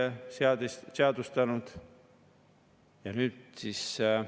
Alustame sellest, et räägitakse, et makse on vaja tõsta erinevate asjade.